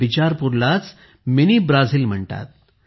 बिचरपूरलाच mini Brazil म्हणतात